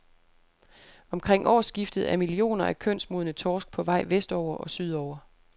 Omkring årsskiftet er millioner af kønsmodne torsk på vej vestover og sydover.